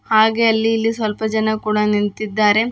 ಹಾಗೆ ಅಲ್ಲಿ ಇಲ್ಲಿ ಸ್ವಲ್ಪ ಜನ ಕೂಡ ನಿಂತಿದ್ದಾರೆ.